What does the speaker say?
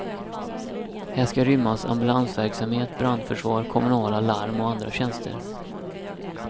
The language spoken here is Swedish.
Här ska rymmas ambulansverksamhet, brandförsvar, kommunala larm och andra tjänster.